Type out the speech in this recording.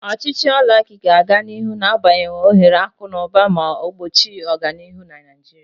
Ochichi oligaki ga-aga n'ihu na-abawanye ohere akụ na ụba ma gbochie ọganihu na Naijiria.